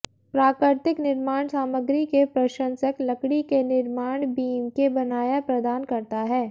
प्राकृतिक निर्माण सामग्री के प्रशंसक लकड़ी के निर्माण बीम के बनाया प्रदान करता है